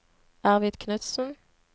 Arvid Knudsen